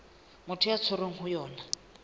motho a tshwerweng ho yona